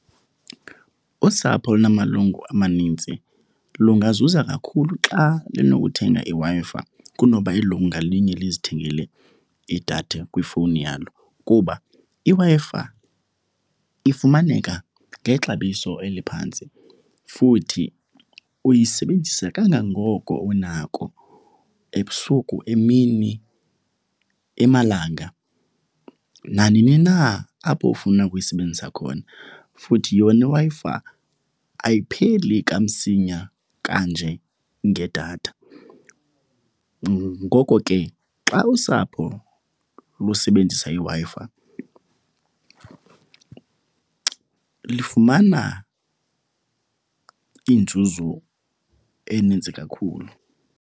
Usapho olunamalungu amanintsi lungazuza kakhulu xa linokuthenga iWi-Fi kunoba ilungu ngalinye lizithengele idatha kwifowuni yalo kuba iWi-Fi ifumaneka ngexabiso eliphantsi. Futhi uyisebenzisa kangangoko unako, ebusuku, emini, emalanga, nanini na apho ufuna ukuyisebenzisa khona. Futhi yona iWi-Fi ayipheli kamsinya kanje ngedatha, ngoko ke xa usapho lusebenzisa iWi-Fi lifumana inzuzo eninzi kakhulu.